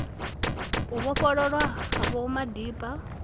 u vhofhololwa ha vho madiba